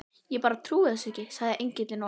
Ég bara trúi þessu ekki, sagði Engillinn, og